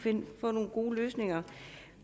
få nogle gode løsninger